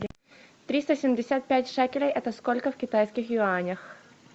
триста семьдесят пять шекелей это сколько в китайских юанях